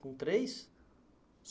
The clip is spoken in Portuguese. Com três?